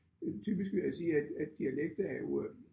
Øh typisk vil jeg sige at at dialekt er jo øh